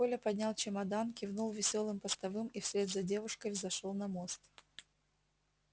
коля поднял чемодан кивнул весёлым постовым и вслед за девушкой взошёл на мост